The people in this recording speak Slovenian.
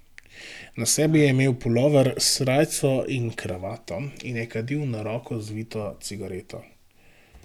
Na sebi je imel pulover s srajco in kravato in je kadil na roko zvito cigareto.